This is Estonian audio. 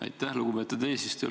Aitäh, lugupeetud eesistuja!